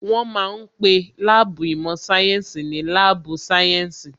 Wọ́n ma ń pe láàbù īmò sáyénsī ní láàbù sáyẹ́ǹsì